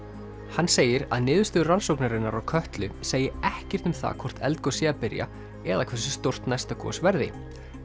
hann segir að niðurstöður rannsóknarinnar á Kötlu segi ekkert um það hvort eldgos sé að byrja eða hversu stórt næsta gos verði